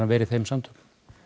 vera í þeim samtökum